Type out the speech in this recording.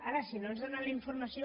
ara si no ens donen la informació